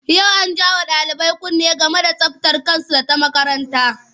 Yau an ja wa ɗalibai kunne game da tsabtar kansu da ta makaranta.